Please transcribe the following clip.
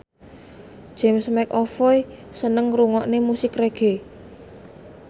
James McAvoy seneng ngrungokne musik reggae